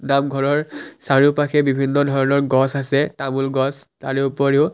নামঘৰৰ চাৰিওপাশে বিভিন্ন ধৰণৰ গছ আছে তামোল গছ তাৰোপৰিও--